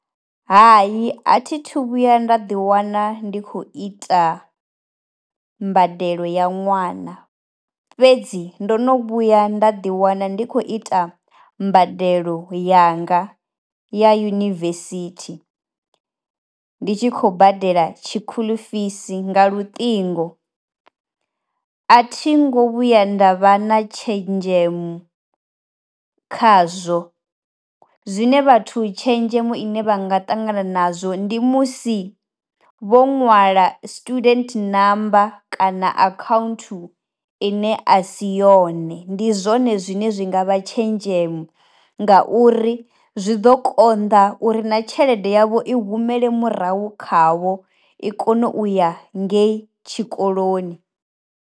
Hai a thi thu vhuya nda ḓiwana ndi khou ita mbadelo ya ṅwana fhedzi ndo no vhuya nda ḓiwana ndi kho ita mbadelo yanga ya yunivesithi. Ndi tshi khou badela tshi school fees nga luṱingo. A thi ngo vhuya nda vha na tshenzhemo khazwo zwine vhathu tshenzhemo ine vha nga ṱangana nazwo ndi musi vho nwala student number kana account ine a si yone, ndi zwone zwine zwi nga vha tshenzhemo nga uri zwi ḓo konḓa uri na tshelede yavho i humele murahu khavho i kone u ya ngeyi tshikoloni.